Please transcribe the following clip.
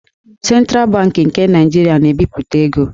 Sentral Bankị nke Naịjirịa na-ebipụta ego.